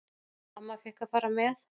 Amma fékk að fara með.